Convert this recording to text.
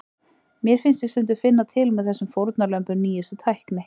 Mér fannst ég stundum finna til með þessum fórnarlömbum nýjustu tækni.